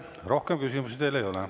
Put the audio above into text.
Rohkem küsimusi teile ei ole.